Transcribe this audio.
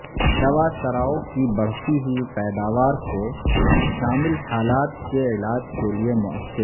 دوا سراو کی بڑھتی ہوئی پیداوار کو شامل حالات کے علاج کے لئے موثر